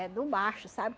É do macho, sabe?